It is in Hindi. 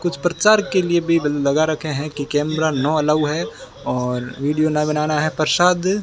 कुछ प्रचार के लिए बेबल लगा रखे है कि कैमरा नो एलाऊ है और वीडियो ना बनाना है प्रसाद --